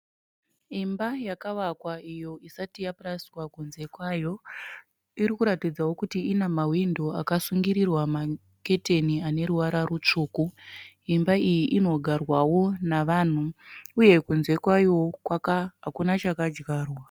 Imba yavavakwa iyo isati yapurasitiwa kunze kwayo .Ikurakidzawo kuti inehwindo akasungirirwa maketeni ane ruvara rutsvuku. Imba iyi inogarwawo navanhu uye kunze kwayo hakuna chakadyarwa.